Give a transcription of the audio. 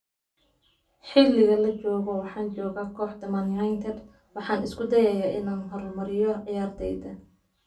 Xilligan la joogo waxaan joogaa kooxda Man United, waxaana isku dayayaa inaan horumariyo ciyaarteyda.